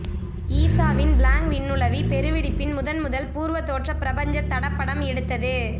ஈசாவின் Planck விண்ணுளவி பெரு வெடிப்பின் முதன்முதல் பூர்வத் தோற்றப் பிரபஞ்சத் தடப்படம் எடுத்தது